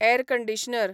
air conditioner